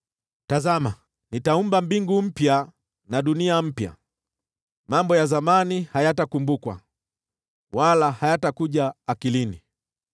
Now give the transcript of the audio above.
“Tazama, nitaumba mbingu mpya na dunia mpya. Mambo ya zamani hayatakumbukwa, wala hayatakuja akilini.